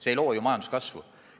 See ei loo ju majanduskasvu.